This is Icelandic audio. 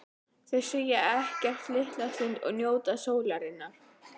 Þau segja ekkert litla stund og njóta sólarinnar.